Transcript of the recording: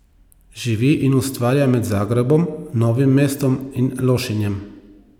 Živi in ustvarja med Zagrebom, Novim mestom in Lošinjem.